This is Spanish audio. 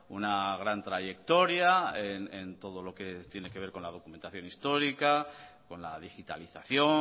una gran trayectoria en todo lo que tiene que ver con la documentación histórica con la digitalización